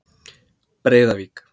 Breiðavík